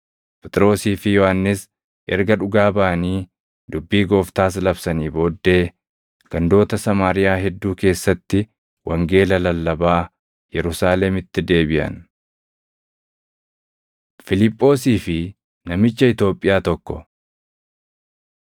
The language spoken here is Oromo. Phexrosii fi Yohannis erga dhugaa baʼanii dubbii Gooftaas labsanii booddee gandoota Samaariyaa hedduu keessatti wangeela lallabaa Yerusaalemitti deebiʼan. Fiiliphoosii fi Namicha Itoophiyaa Tokko